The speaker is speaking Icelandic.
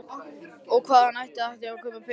Og hvaðan ætti að taka peninga til að kaupa hund?